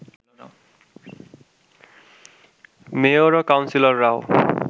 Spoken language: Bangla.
মেয়র ও কাউন্সিলররাও